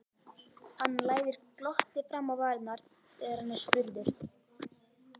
Hann læðir glotti fram á varirnar þegar hann er spurður.